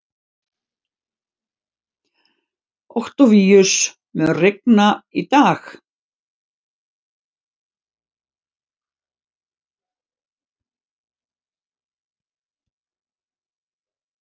Októvíus, mun rigna í dag?